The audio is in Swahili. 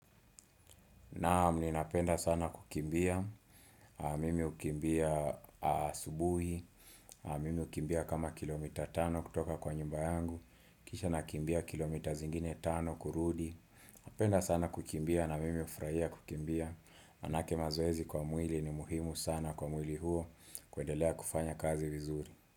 Naam ninapenda sana kukimbia, mimi hukimbia asubuhi, mimi hukimbia kama kilomita tano kutoka kwa nyumba yangu, kisha nakimbia kilomita zingine tano kurudi, napenda sana kukimbia na mimi hufrahia kukimbia, maanake mazoezi kwa mwili ni muhimu sana kwa mwili huo kuendelea kufanya kazi vizuri.